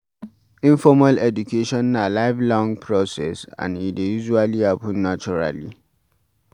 Informal education na life long process and e dey usally happen naturally